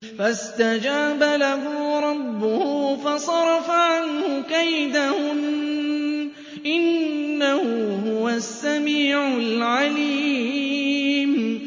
فَاسْتَجَابَ لَهُ رَبُّهُ فَصَرَفَ عَنْهُ كَيْدَهُنَّ ۚ إِنَّهُ هُوَ السَّمِيعُ الْعَلِيمُ